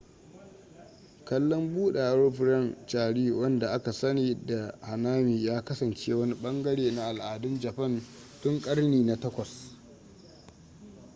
kallon buɗewar furen cherry wanda aka sani da hanami ya kasance wani ɓangare na al'adun japan tun ƙarni na 8